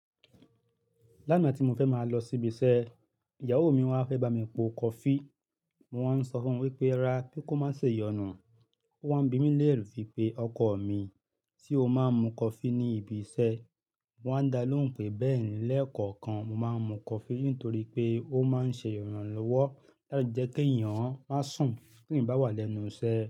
Lánàá tí mo fẹ́ máa lọ síbi iṣẹ́, ìyàwó mi wá fẹ́ bá mi po kọfí, mo wá ń sọ fún wípé, ra pé kó má ṣe yọnu. Ó wá ń bi mí léèrè fi pé, ọkọ mi, sé o máa ń mu kọfí ní ibi iṣẹ́ ni? Mo wá ń dá lóhùn pé, bẹ́ẹ̀ni, lẹ́ẹ̀kọ̀kan mo máa ń mu kọfí nítorí pé ó má ń ṣe ìrànlọ́wọ́ láti jẹ́ kí èèyàn má sùn tí èèyàn bá wà lẹ́nu iṣẹ́